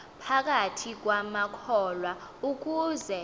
phakathi kwamakholwa ukuze